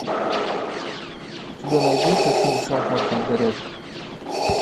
у тебя найдется фильм шахматная горячка